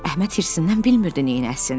Əhməd hirsindən bilmirdi neynəsin.